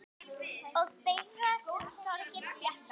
Og þeirra sem sorgin þjakar.